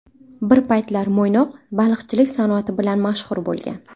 Bir paytlar Mo‘ynoq baliqchilik sanoati bilan mashhur bo‘lgan.